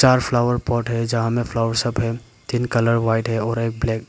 चार flower pot है जहां में फ्लावर सब है तीन कलर व्हाइट है और एक ब्लैक ।